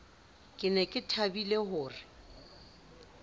ne ke thabile ho re